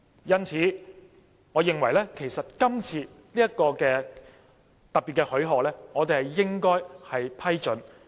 因此，我認為就今次的特別許可，其實我們應要批准。